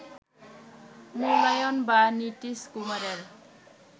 মুলায়ম বা নীতীশ কুমারের